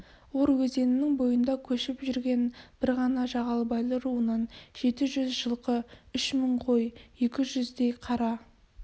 ор өзенінің бойында көшіп жүрген бір ғана жағалбайлы руынан жеті жүз жылқы үш мың қой екі жүздей қара